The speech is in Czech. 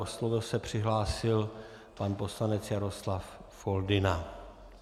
O slovo se přihlásil pan poslanec Jaroslav Foldyna.